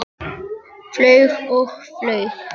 Flaug og flaug.